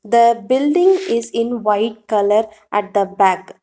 The building is in white colour at the back.